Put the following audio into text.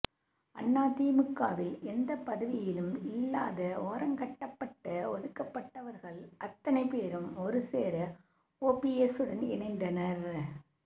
அதிமுகவில் எந்த பதவியிலும் இல்லாத ஓரங்கட்டப்பட்ட ஒதுக்கப்பட்டவர்கள் அத்தனை பேரும் ஒருசேர ஓபிஎஸ்ஸுடன் இணைந்தனர்